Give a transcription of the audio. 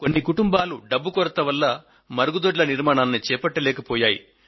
కొన్ని కుటుంబాలు డబ్బు కొరత వల్ల మరుగుదొడ్ల నిర్మాణాన్ని చేపట్టలేకపోయాయి